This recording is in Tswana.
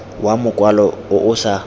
wa mokwalo o o sa